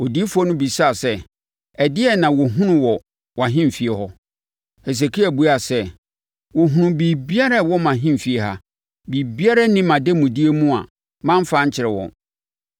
Odiyifoɔ no bisaa sɛ, “Ɛdeɛn na wɔhunuu wɔ wʼahemfie hɔ?” Hesekia buaa sɛ, “Wɔhunuu biribiara a ɛwɔ mʼahemfie ha. Biribiara nni mʼademudeɛ mu a mamfa ankyerɛ wɔn.”